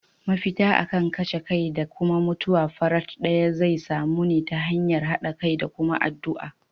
Mafita akan kashe kai da mutuwar farat daya zai samu ne ta hanyar hada kai da kuma addu'a.